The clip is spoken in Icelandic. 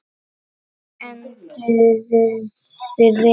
Enduðum við vel?